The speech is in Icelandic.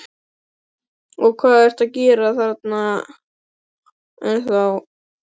Og hvað ertu að gera þarna ennþá?